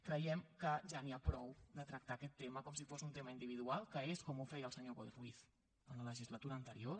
creiem que ja n’hi ha prou de tractar aquest tema com si fos un tema individual que és com ho feia el senyor boi ruiz en la legislatura anterior